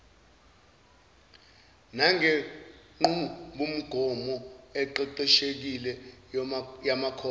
nangenqubomgomo eqeqeshekile yamakhono